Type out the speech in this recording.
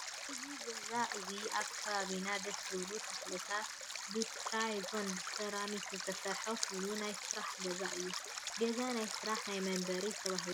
እዚ ገዛ እዙይ ኣብ ከባቢኡ ደስ ዝብሉ ተኽሊታት ብቴራዞን ብሴራሚክ ዝተሰርሐ ኮይኑ ናይ ስራሕ ገዛ እዩ። ገዛ ናይ ስራሕን ናይ መንበሪን ተባሂሎም ኣብ ክልተ ይምቀሉ።